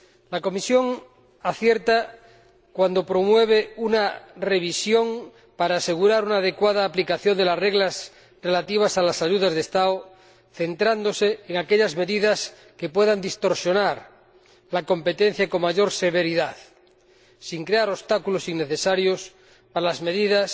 La Comisión acierta cuando promueve una revisión para asegurar una adecuada aplicación de las reglas relativas a las ayudas de Estado, centrándose en aquellas medidas que puedan distorsionar la competencia con mayor severidad, sin crear obstáculos innecesarios a las medidas